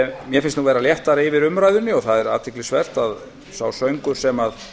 mér finnst vera léttara yfir umræðunni og það er athyglisvert að sá söngur sem